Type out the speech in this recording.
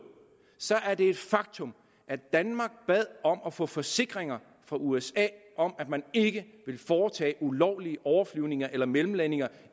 så er det et faktum at danmark bad om at få forsikringer fra usa om at man ikke ville foretage ulovlige overflyvning eller mellemlandinger